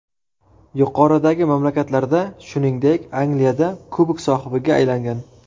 Yuqoridagi mamlakatlarda, shuningdek, Angliyada kubok sohibiga aylangan.